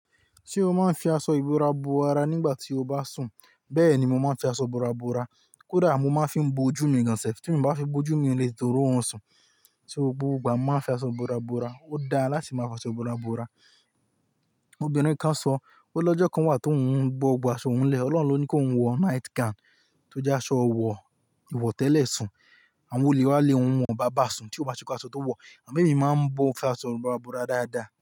Tí o máa ń fi aṣọ ìbora bora nígbà tí o bá sùn, bẹ́ẹ̀ ni mo máa ń fi aṣọ ìbora bora. Kódà mo máa ń fi bo ojú mi gan sef tí mo bá fi bo ojú mi lẹ́tí tòró orun sùn. Ti gbogbo ìgbà mo máa ń fi aṣọ ìbora bora. Ó dáa láti máa fi aṣọ ìbora bora. Obìnrin kan sọ olọ́jọ́ kan wà tí òun ń bọ gbogbo aṣọ ohun lẹ, Ọlọ́run ló ní kóun wọ night gown tó jẹ́ aṣọ wọ ìwọ̀tẹ́lẹ̀ sùn. Àwọn ole wá lé òun wọ bàbá sùn tí ó bá ṣe pé aṣọ tó wọ. Àbí èmi máa ń bọ fi aṣọ ìbora bora dáadáa.